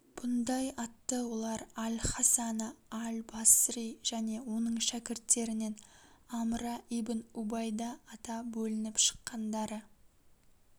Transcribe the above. бұндай атты олар аль хасана аль басри және оның шәкірттерінен амра ибн убайда ата бөлініп шыққандары